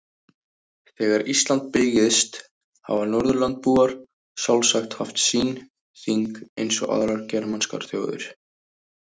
Þegar Ísland byggðist hafa Norðurlandabúar sjálfsagt haft sín þing eins og aðrar germanskar þjóðir.